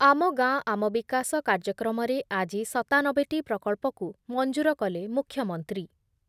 ଆମ ଗାଁ ଆମ ବିକାଶ କାର୍ଯ୍ୟକ୍ରମରେ ଆଜି ସତାନବେ ଟି ପ୍ରକଳ୍ପକୁ ମଂଜୁର କଲେ ମୁଖ୍ୟମନ୍ତ୍ରୀ